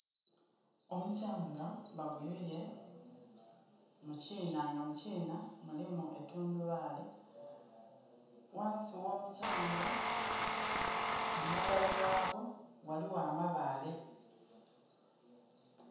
Omukyanga baguyuye mukiina nga mukiina mulimu tundhubali. Ghansi ghomukyanga kumabali ghagwo ghaligho amabaale